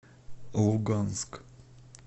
луганск